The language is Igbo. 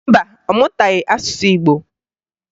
Mba, ọ mụtaghị asụsụ Igbo